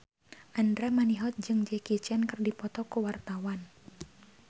Andra Manihot jeung Jackie Chan keur dipoto ku wartawan